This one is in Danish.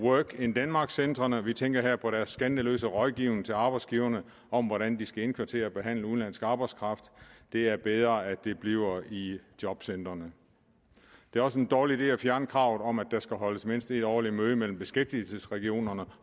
work in denmark centrene vi tænker her på deres skandaløse rådgivning til arbejdsgiverne om hvordan de skal indkvartere og behandle udenlandsk arbejdskraft det er bedre at det bliver i jobcentrene det er også en dårlig idé at fjerne kravet om at der skal holdes mindst et årligt møde mellem beskæftigelsesregionerne